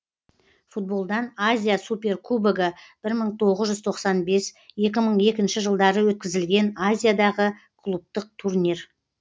футболдан азия суперкубогы бір мың тоғыз жүз тоқсан бес екі мың екінші жылдары өткізілген азиядағы клубтық турнир